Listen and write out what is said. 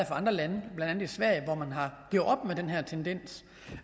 andre lande blandt andet i sverige hvor man har gjort op med den her tendens